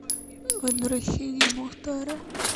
возвращение мухтара